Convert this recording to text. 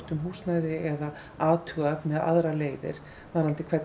athuga með aðrar leiðir varðandi hvernig er hægt að styðja